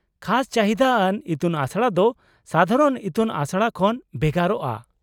-ᱠᱷᱟᱥ ᱪᱟᱹᱦᱤᱫᱟ ᱟᱱ ᱤᱛᱩᱱᱟᱥᱲᱟ ᱫᱚ ᱥᱟᱫᱷᱟᱨᱚᱱ ᱤᱛᱩᱱ ᱟᱥᱲᱟ ᱠᱷᱚᱱ ᱵᱷᱮᱜᱟᱨᱚᱜᱼᱟ ᱾